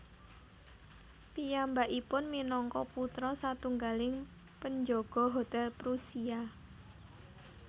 Piyambakipun minangka putra satunggaling penjaga hotel Prusia